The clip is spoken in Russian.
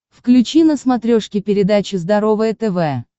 включи на смотрешке передачу здоровое тв